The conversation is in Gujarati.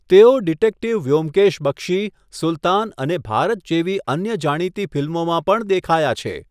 તેઓ 'ડિટેક્ટીવ વ્યોમકેશ બક્ષી', 'સુલતાન' અને 'ભારત' જેવી અન્ય જાણીતી ફિલ્મોમાં પણ દેખાયા છે.